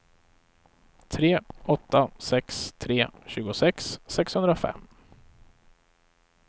tre åtta sex tre tjugosex sexhundrafem